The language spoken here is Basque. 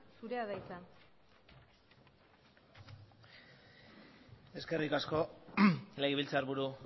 zurea da hitza eskerrik asko legebiltzarburu